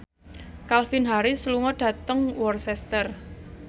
Calvin Harris lunga dhateng Worcester